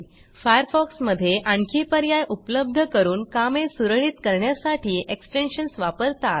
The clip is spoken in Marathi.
फायरफॉक्स मधे आणखी पर्याय उपलब्ध करून कामे सुरळीत करण्यासाठी एक्सटेन्शन्स वापरतात